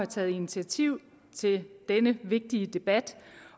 taget initiativ til denne vigtige debat